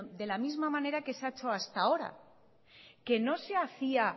de la misma manera que se ha hecho hasta ahora que no se hacía